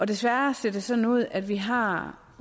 desværre ser det sådan ud at vi har